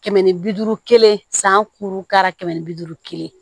Kɛmɛ ni bi duuru kelen san duuru ka kɛmɛ ni bi duuru kelen